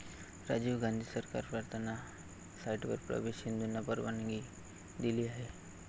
राजीव गांधी सरकार प्रार्थना साइटवर प्रवेश हिंदूंना परवानगी दिली आहे.